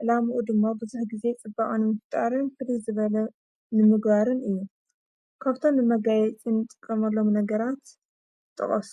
ዕላምኡ ድሞ ብዙኅ ጊዜ ጽበዖን ምፍጣርን ፍል ዝበለ ንምግባርን እዩ ካፍቶም መጋየ ጭንጥ ቀመሎም ነገራት ጥቐሱ።